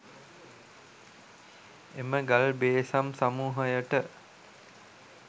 එම ගල් බේසම් සමූහයට